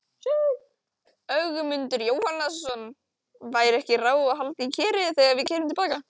Ögmundur Jónasson: Væri ekki ráð að halda í Kerið þegar við keyrum til baka?